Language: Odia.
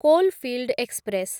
coalfield express